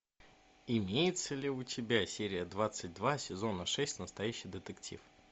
имеется ли у тебя серия двадцать два сезона шесть настоящий детектив